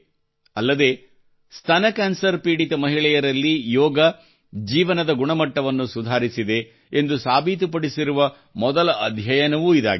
ಅಲ್ಲದೆ ಸ್ತನ ಕ್ಯಾನ್ಸರ್ ಪೀಡಿತ ಮಹಿಳೆಯರಲ್ಲಿ ಯೋಗವು ಜೀವನದ ಗುಣಮಟ್ಟವನ್ನು ಸುಧಾರಿಸಿದೆ ಎಂದು ಸಾಬೀತುಪಡಿಸಿರುವ ಮೊದಲ ಅಧ್ಯಯನವೂ ಇದಾಗಿದೆ